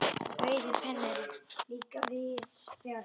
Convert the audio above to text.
Rauði penninn líka víðs fjarri.